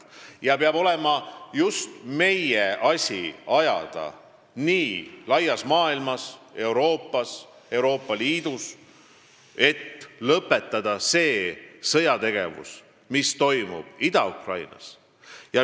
See peab olema just meie asi ajada laias maailmas, Euroopas, Euroopa Liidus, et lõpetada sõjategevus Ida-Ukrainas.